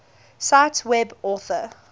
cite web author